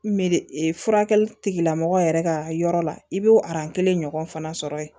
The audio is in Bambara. Meri furakɛli tigila mɔgɔ yɛrɛ ka yɔrɔ la i b'o kelen ɲɔgɔn fana sɔrɔ yen